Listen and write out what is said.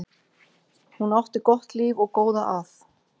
Hún átti gott líf og góða að.